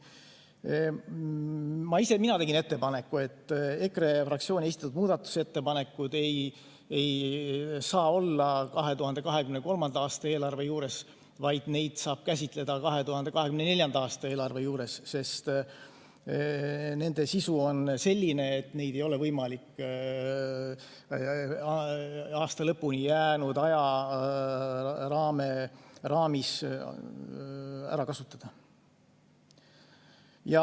Ma ise tegin ettepaneku, et EKRE fraktsiooni esitatud muudatusettepanekud ei saa olla 2023. aasta eelarve juures, aga neid saab käsitleda 2024. aasta eelarve juures – nende sisu on selline, et neid ei ole võimalik aasta lõpuni jäänud ajaraamis ära kasutada.